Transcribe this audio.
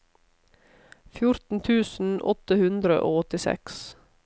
fjorten tusen åtte hundre og åttiseks